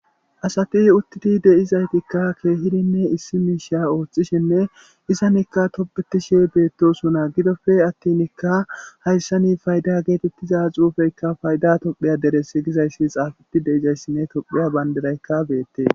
Asati uttidi deizayttika kehidi issi mishsha ooththishene izzan tobbetishe bettosona giddoppe attin hayssan paydda gettetiza xuffeyka payda tophphiya deres giza xuffey xafeti deizayssine tophphiya bandiray bettes.